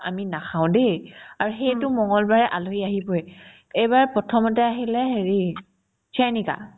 আমি নাখাও দেই আৰু সেইটো মংগলবাৰে আলহী আহিবয়ে এইবাৰ প্ৰথমতে আহিলে হেৰি চয়ানিকা